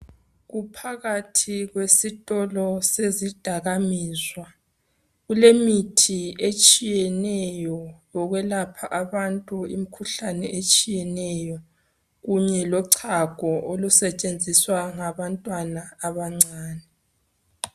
Kuphakathi kwesitolo sezidakamizwa kulemithi etshiyeneyo yokwelapha abantu imikhuhlane etshiyeneyo kunye lochago olusetshenziswa ngabantwana abancane.